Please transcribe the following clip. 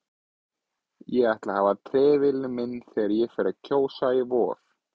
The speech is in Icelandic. Ég ætla að hafa trefilinn minn þegar ég fer að kjósa í vor